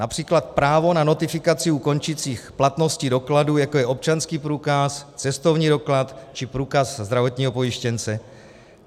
Například právo na notifikaci u končících platností dokladů, jako je občanský průkaz, cestovní doklad či průkaz zdravotního pojištěnce.